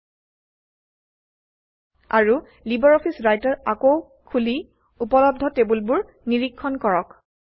৩ আৰু LibreOffice Writer আকৌ খুলি উপলব্ধ টেবুলবোৰ নিৰীক্ষণ কৰক